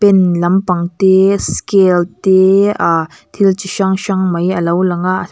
pen lampang te scale te a thil chi hrang hrang mai alo lang a.